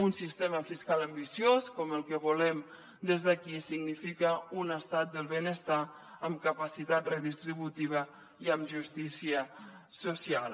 un sistema fiscal ambiciós com el que volem des d’aquí significa un estat del benestar amb capacitat redistributiva i amb justícia social